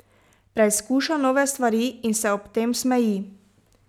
Preizkuša nove stvari in se ob tem smeji.